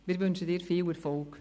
Wir wünschen Ihnen viel Erfolg.